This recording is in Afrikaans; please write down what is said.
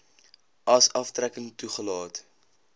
as aftrekking toegelaat